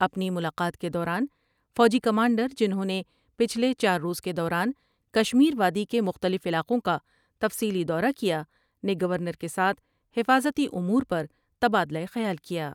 اپنی ملاقات کے دوران فوجی کمانڈر جنہوں نے پچھلے چار روز کے دوران کشمیر وادی کے مختلف علاقوں کا تفصیلی دورہ کیا ، نے گورنر کے ساتھ حفاظتی امور پر تبادلہ خیال کیا ۔